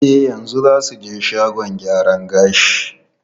E, yanzu za mu je shagon gyaran gashi.